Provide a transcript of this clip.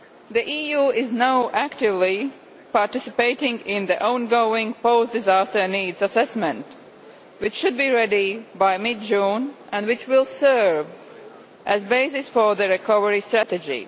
The EU is now actively participating in the ongoing post disaster needs assessment, which should be ready by mid June and which will serve as a basis for the recovery strategy.